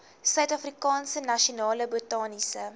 suidafrikaanse nasionale botaniese